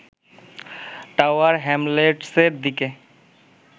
tower হ্যামলেটসের দিকে